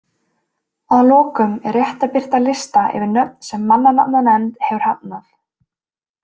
Að lokum er rétt að birta lista yfir nöfn sem mannanafnanefnd hefur hafnað.